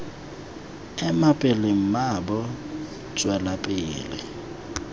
ema pele mmaabo tswela pele